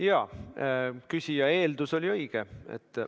Jaa, küsija eeldus oli õige.